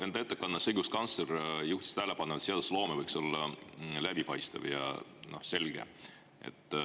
Enda ettekandes õiguskantsler juhtis tähelepanu, et seadusloome võiks olla läbipaistev ja selge.